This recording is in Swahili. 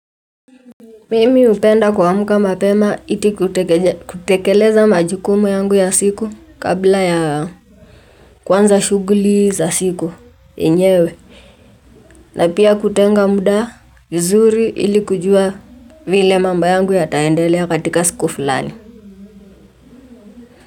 Mimi hupenda kuamka mapema iti kutekeleza majukumu yangu ya siku kabla ya kuanza shughuli za siku yenyewe na pia kutenga muda mzuri ili kujua vile mambo yangu ya taendelea katika siku fulani.